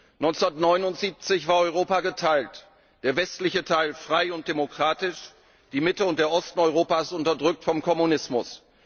1979 war Europa geteilt der westliche Teil frei und demokratisch, die Mitte und der Osten Europas unterdrückt vom Kommunismus.